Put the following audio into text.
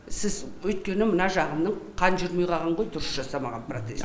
сіз өйткені мына жағының қан жүрмей қалған ғой дұрыс жасалмаған протез